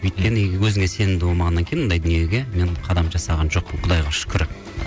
өйткені өзіңе сенімді болмағаннан кейін ондай дүниеге мен қадам жасаған жоқпын құдайға шүкір